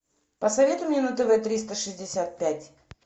посоветуй мне на тв триста шестьдесят пять